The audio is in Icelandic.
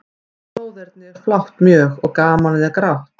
En bróðernið er flátt mjög, og gamanið er grátt.